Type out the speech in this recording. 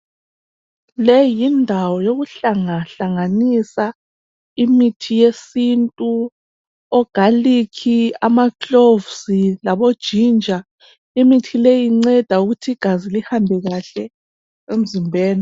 Leyi yindawo yokuhlangahlanganisa imithi yesintu, ogalikhi, amaklovusi, labojinja. Imithi leyi inceda ukuthi igazi lihamba kahle emzimbeni.